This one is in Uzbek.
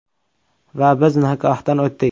Va biz nikohdan o‘tdik.